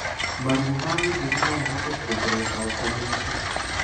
Maruo ma gĩthũri nomahote kuongerereka ukomete